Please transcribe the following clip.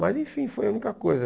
Mas, enfim, foi a única coisa.